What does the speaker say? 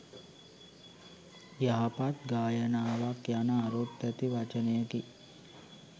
යහපත් ගායනාවක් යන අරුත් ඇති වචනයකි